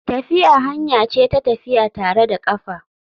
Tafiya hanya ce ta tafiya tare da kafa.